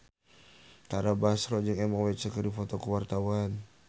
Tara Basro jeung Emma Watson keur dipoto ku wartawan